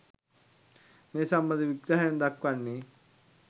මේ සම්බන්ධ විග්‍රහයෙන් දක්වන්නේ